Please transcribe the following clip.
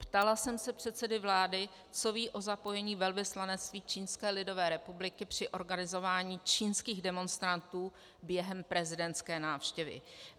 Ptala jsem se předsedy vlády, co ví o zapojení velvyslanectví Čínské lidové republiky při organizování čínských demonstrantů během prezidentské návštěvy.